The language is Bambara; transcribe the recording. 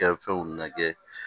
Kɛ fɛnw na kɛ